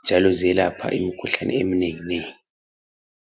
njalo ziyelapha imikhuhlane eminenginengi.